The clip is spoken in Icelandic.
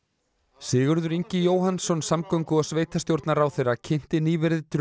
Sigurður Ingi Jóhannsson samgöngu og sveitarstjórnarráðherra kynnti nýverið drög